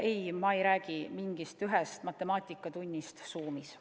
Ei, ma ei räägi mingist ühest matemaatikatunnist Zoomis.